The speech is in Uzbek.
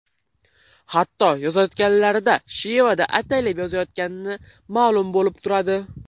Hatto yozayotganlarida shevada ataylab yozayotgani ma’lum bo‘lib turadi.